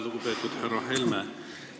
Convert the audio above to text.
Lugupeetud härra Helme!